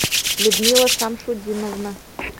людмила шамшутдиновна